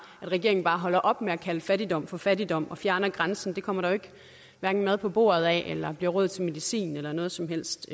regeringen bare holder op med at kalde fattigdom for fattigdom og fjerner grænsen det kommer der jo hverken mad på bordet af eller bliver råd til medicin eller noget som helst